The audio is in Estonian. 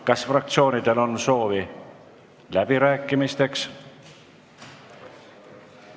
Kas fraktsioonidel on soovi läbirääkimisteks?